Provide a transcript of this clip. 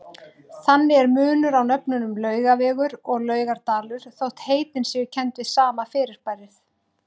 Þannig er munur á nöfnunum Laugavegur og Laugardalur þótt heitin séu kennd við sama fyrirbærið.